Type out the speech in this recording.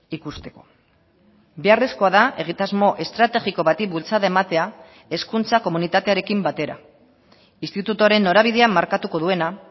ikusteko beharrezkoa da egitasmo estrategiko bati bultzada ematea hezkuntza komunitatearekin batera institutuaren norabidea markatuko duena